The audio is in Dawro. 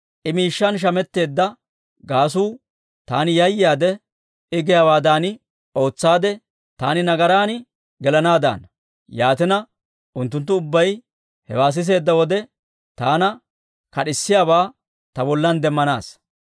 I miishshan shametteedda gaasuu taani yayaade, I giyaawaadan ootsaade taani nagaran gelanaaddaana. Yaatina, unttunttu ubbay hewaa siseedda wode, taana kad'isiyaabaa ta bollan demmanaassa.